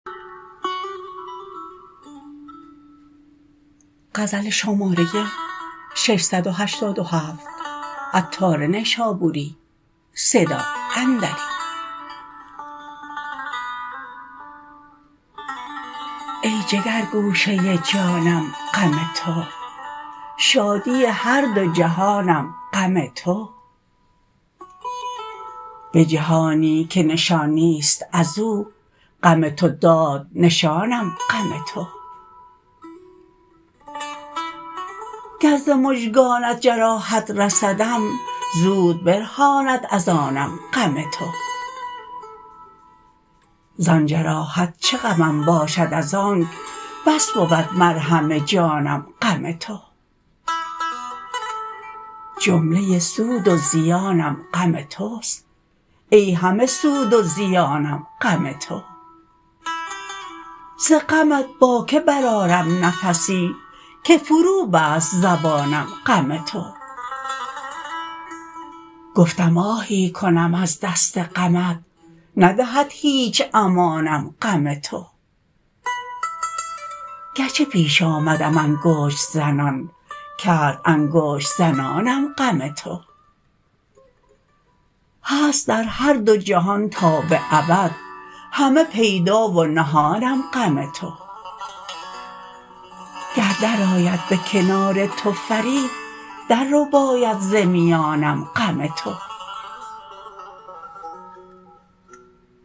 ای جگر گوشه جانم غم تو شادی هر دو جهانم غم تو به جهانی که نشان نیست ازو غم تو داد نشانم غم تو گر ز مژگانت جراحت رسدم زود برهاند از آنم غم تو زان جراحت چه غمم باشد از آنک بس بود مرهم جانم غم تو جمله سود و زیانم غم توست ای همه سود و زیانم غم تو ز غمت با که برآرم نفسی که فرو بست زبانم غم تو گفتم آهی کنم از دست غمت ندهد هیچ امانم غم تو گرچه پیش آمدم انگشت زنان کرد انگشت زنانم غم تو هست در هر دو جهان تا به ابد همه پیدا و نهانم غم تو گر درآید به کنار تو فرید در رباید ز میانم غم تو